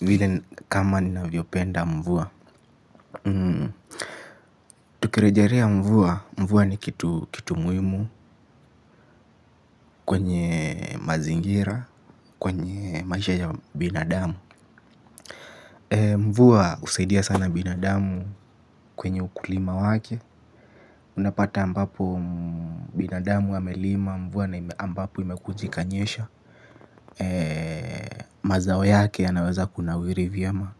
Vile kama ninavyopenda mvua. Tukirejelea mvua, mvua ni kitu muhimu kwenye mazingira, kwenye maisha ya binadamu. Mvua husaidia sana binadamu kwenye ukulima wake. Unapata ambapo binadamu amelima mvua na ambapo imekuja ikanyesha. Mazao yake yanaweza kunawiri vyema.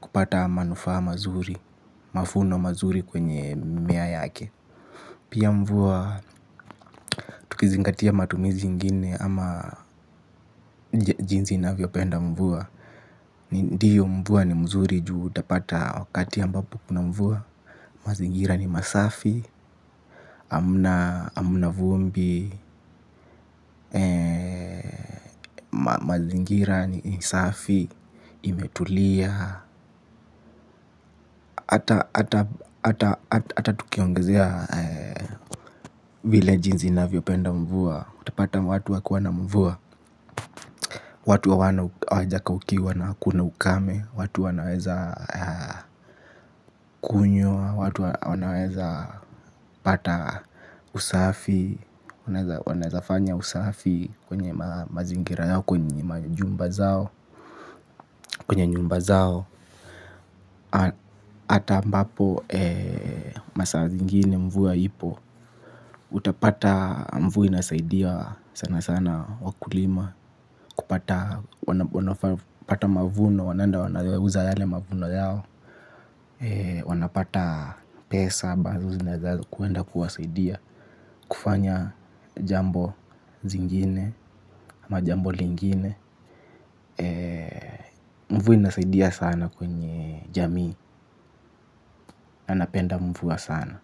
Kupata manufaa mazuri, mavuno mazuri kwenye mimea yake. Pia mvua, tukizingatia matumizi ingine ama jinsi ninavyopenda mvua. Ndiyo mvua ni mzuri ju utapata wakati ambapo kuna mvua. Mazingira ni masafi, hamna vumbi, mazingira ni safi, imetulia. Ata tukiongezea vile jinsi navyopenda mvua. Utapata watu wa kuwa na mvua. Watu hawana u hawajakaukiwa na kuna ukame. Watu wanaweza kunywa. Watu wanaweza pata usafi wanaweza fanya usafi kwenye mazingira yao kwenye majumba zao. Kwenye nyumba zao hata ambapo masaa zingine mvua ipo. Utapata mvua inasaidia sana sana wakulima. Kupata mavuno wanaenda wanauza yale mavuno yao. Wanapata pesa ambazo zinaeza kuenda kuwasaidia kufanya jambo zingine ama jambo lingine. Mvu inasaidia sana kwenye jamii. Na napenda mvua sana.